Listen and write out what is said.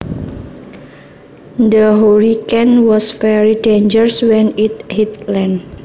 The hurricane was very dangerous when it hit land